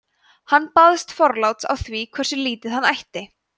hann baðst forláts á því hversu lítið hann ætti